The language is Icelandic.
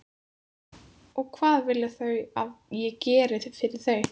Og hvað vilja þau að ég geri fyrir þau?